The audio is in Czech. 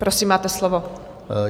Prosím, máte slovo.